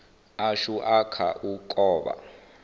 ashu a kha u kovha